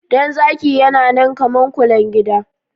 Dan zaki yana nan kamar kulen gida